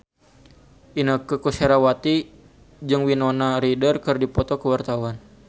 Inneke Koesherawati jeung Winona Ryder keur dipoto ku wartawan